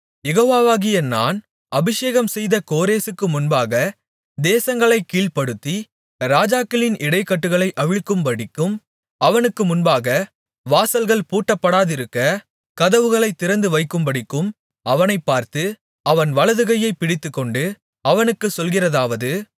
யெகோவாவாகிய நான் அபிஷேகம்செய்த கோரேசுக்கு முன்பாக தேசங்களைக் கீழ்ப்படுத்தி ராஜாக்களின் இடைக்கட்டுகளை அவிழ்க்கும்படிக்கும் அவனுக்கு முன்பாக வாசல்கள் பூட்டப்படாதிருக்க கதவுகளைத் திறந்து வைக்கும்படிக்கும் அவனைப் பார்த்து அவன் வலதுகையைப் பிடித்துக்கொண்டு அவனுக்குச் சொல்கிறதாவது